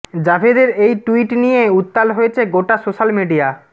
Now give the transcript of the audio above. জাভেদের এই টুইট নিয়ে উত্তাল হয়েছে গোটা সোশ্যাল মিডিয়া